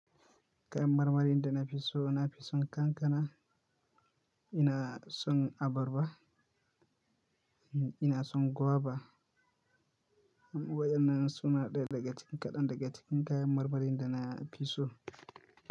Kayan marmarin da na fi so, na fi son kankana, ina son abarba, ina son guava. Waennan su na ɗaya daga cikin kaɗan daga cikin kayan marmarin da na fi so?